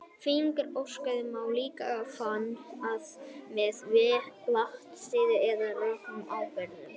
fíngerða ösku má líka fanga með vatnsúða eða rökum ábreiðum